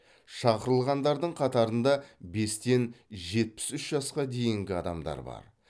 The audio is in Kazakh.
шақырылғандардың қатарында бестен жетпіс үш жасқа дейінгі адамдар бар